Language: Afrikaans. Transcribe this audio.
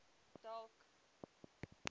dalk gaan werk